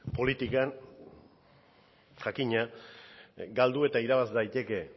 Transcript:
politikan jakina galdu eta irabaz daiteke